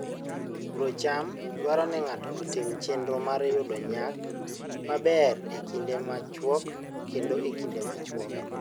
Puro cham dwaro ni ng'ato otim chenro mar yudo nyak maber e kinde machuok koda e kinde machuok.